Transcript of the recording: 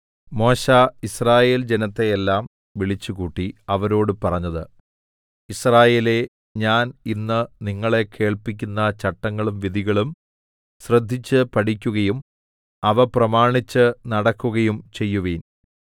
മോശെ യിസ്രായേൽ ജനത്തെയെല്ലാം വിളിച്ചുകൂട്ടി അവരോട് പറഞ്ഞത് യിസ്രായേലേ ഞാൻ ഇന്ന് നിങ്ങളെ കേൾപ്പിക്കുന്ന ചട്ടങ്ങളും വിധികളും ശ്രദ്ധിച്ച് പഠിക്കുകയും അവ പ്രമാണിച്ച് നടക്കുകയും ചെയ്യുവിൻ